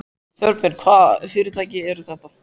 Þorbjörn: Hvaða fyrirtæki eru þetta?